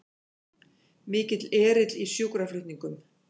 Mikill erill í sjúkraflutningum